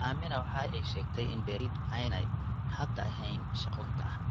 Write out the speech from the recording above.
Aamina waxa ay sheegtay in beeralaydu aanay hadda ahayn shaqo gacanta ah.